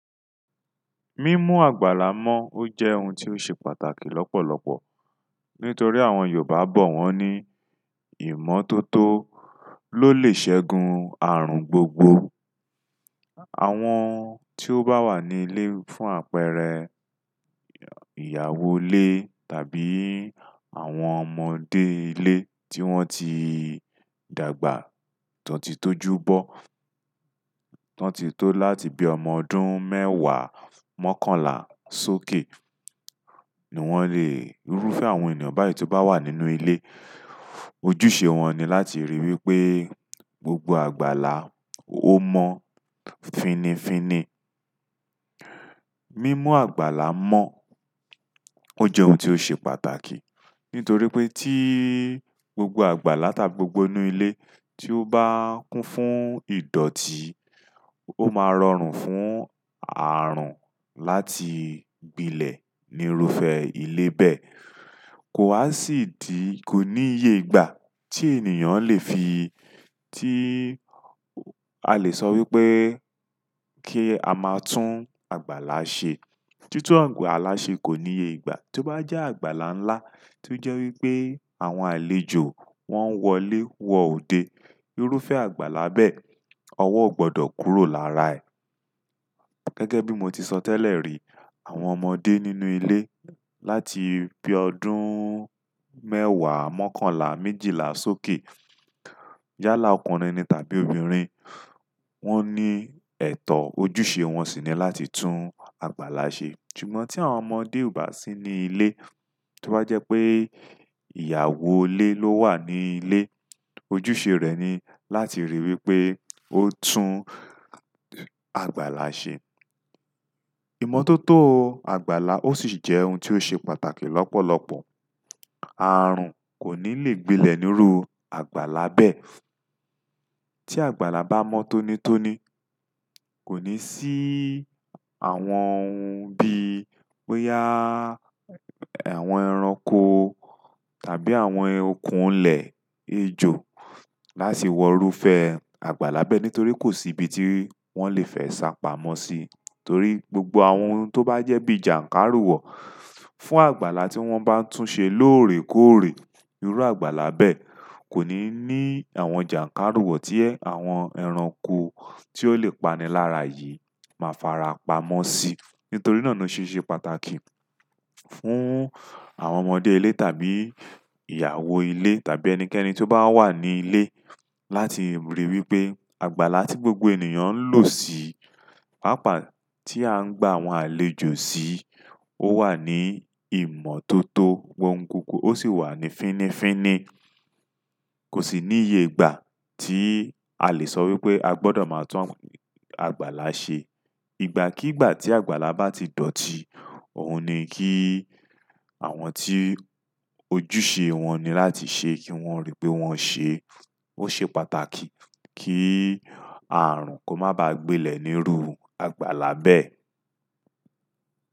Mímú àgbàlá mọ́ ó jẹ́ ohun tí ó ṣe pàtàkì lọ́pọ̀lọpọ̀ nítorí àwọn Yorùbá bọ̀ wọ́n ní ìmọ́tótó ló lè ṣẹ́gun ààrùn gbogbo. Àwọn tí ó bá wà ní ilé fún àpẹẹrẹ ìyàwó ilé tàbí àwọn ọmọdé ilé tí wọ́n ti dàgbà, tí wọ́n ti tó júbọ, tí wọ́n ti tó láti bi ọmọ ọdún mẹ́wàá mọ́kànlá sókè ni wọ́n lè irúfẹ́ àwọn ènìyàn báyìí tí ó bá wà nínú ilé. Ojúṣe wọn ni láti ríi wí pé gbogbo àgbàlá ó mọ́ fínnífínní. Mímú àgbàlá mọ́ o je ohun ti o se pàtàkì, nítorí pe ti gbogbo àgbàlá tàbí gbogbo inú ile ti o ba kun fún idoti, o ma rọrùn fún aarun láti gbile ni irúfẹ́ ile be. Kò wa si idi, ko ní ìyè ìgbà tí ènìyàn lè fi, tí a lè sọ wí pé kí a máa tún àgbàlá ṣe. Títún àgbàlá ṣe kò ní ìyègbà. Tó bá jẹ́ àgbàlá ńlá tí ó jẹ́ wí pé àwọn àlejò wọ́n wọlé wọ òde, irúfẹ́ àgbàlá bẹ́ẹ̀, ọwọ́ ò gbọdọ̀ kúrò lára ẹ̀. Gẹ́gẹ́ bí mo ti sọ tẹ́lẹ̀ rí, àwọn ọmọdé nínú ilé láti bí ọdún mẹ́wàá mọ́kànlá méjìlá sókè, yálà ọkùnrin ni tàbí obìnrin, wọ́n ní ẹ̀tọ́, ojúṣe wọn sì ni láti tún agbála ṣe. Ṣùgbọ́n ti àwọn ọmọdé o ba si ni ile, ti o ba je pe ìyàwó ile lo wa ni ile, ojú se re ni láti ri wípé o tun àgbàlá se ìmọ́tótó àgbàlá ó sì jẹ́ ohun tí ó ṣe pàtàkì lọ́pọ̀lọpọ̀. Ààrùn kò ní lè gbilẹ̀ ní irú àgbàlá bẹ́ẹ̀. Ti àgbàlá ba mo tonitoni, ko ni si àwọn bi boya àwọn ẹranko, tàbí àwọn okun ile, ejo, láti wo irúfẹ́ àgbàlá be, nítorí ko si ibi ti won le fe sa pamọ́ si, torí gbogbo àwọn to ba je bi jankariwo fún àgbàlá ti won ba n tun se lorekore irú àgbàlá bẹ́ẹ̀ kò ní ní àwọn jànkáriwọ̀ tí àwọn ẹranko tí ó lè pani lára yìí máa fara pamọ́ sí. Nítorí náà na se se pàtàkì fún àwọn ọmọdé ilé tàbí ìyàwó ilé tàbí ẹnikẹ́ni tí ó bá wà ní ilé láti ríi wí pé àgbàlá tí gbogbo ènìyàn ń lò sí, pàápàá ti a n gba àwọn àlejò si, o wa ni imototo, wo n koko, o si wa ni finifini kò sì ní ìyègbà tí a lè sọ wí pé a gbọdọ̀ máa tún àgbàlá ṣe. Ìgbà kígbà tí àgbàlá bá ti dọ̀ọ̀tí, òhun ni kí àwọn tí ojúṣe wọn ni láti ṣe kí wọ́n ríi pé wọ́n ṣe. Ó ṣe pàtàkì kí ààrùn kó má ba gbilẹ̀ ní irú àgbàlá bẹ́ẹ̀.